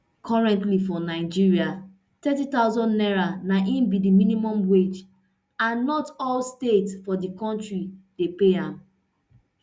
currently for nigeria thirty thousand naira na im be di minimum wage and not all states for di kontri dey pay am